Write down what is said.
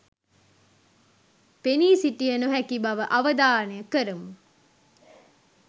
පෙනී සිටිය නොහැකි බව අවධානය කරමු